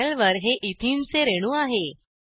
पॅनेलवर हे एथेने चे रेणू आहे